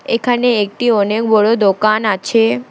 এখানে একটি অনেক বড় দোকান আছে।